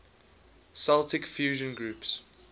celtic fusion groups